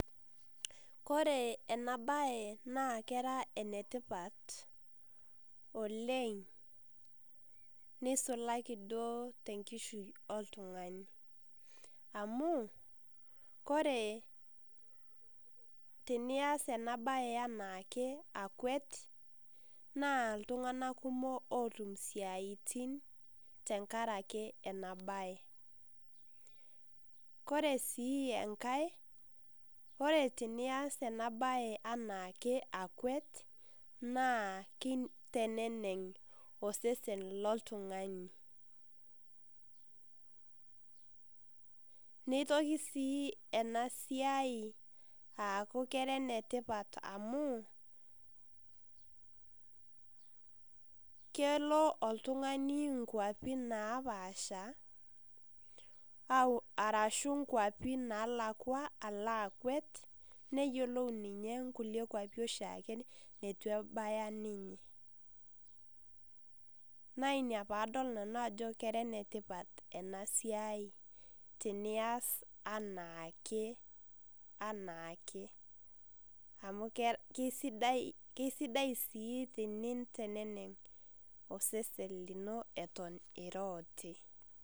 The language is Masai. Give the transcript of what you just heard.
Kore enabae naa kera enetipat oleng nisulaki duo tenkishui oltung'ani. Amu, kore tenias enabae enaake akuet, naa iltung'anak kumok otum isiaitin tenkaraki enabae. Kore si enkae, kore tenias enabae enaake akuet, naa kiteneneng' osesen loltung'ani. Nitoki si enasiai aku kera enetipat amu, kelo oltung'ani nkwapi napaasha, arashu nkwapi nalakwa ala akuet, neyiolou ninye nkulie kwapi oshiake neitu ebaya ninye. Na ina padol nanu ajo kenetipat enasiai tenias anaake anaake. Amu kesidai si teninteneneng' osesen lino eton ira oti.